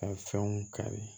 Ka fɛnw kari